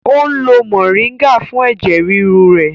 O n lo moringa fún ẹ̀jẹ̀ ríru rẹ̀